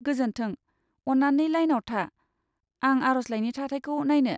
गोजोन्थों, अन्नानै लाइनाव था, आं आर'जलाइनि थाथायखौ नायनो।